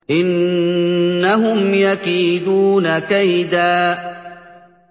إِنَّهُمْ يَكِيدُونَ كَيْدًا